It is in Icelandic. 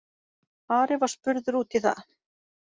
Ari var spurður út í það.